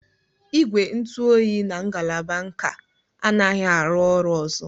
Igwe ntụ oyi na ngalaba nka anaghị arụ ọrụ ọzọ.